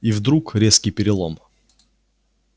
и вдруг резкий перелом